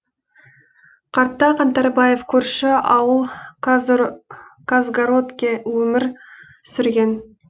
қарта қаңтарбаев көрші ауыл казгородке өмір сүрген